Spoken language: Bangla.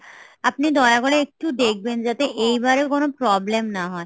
আপনি দয়া করে একটু দেখবেন যাতে এবারেও কোনো problem না হয়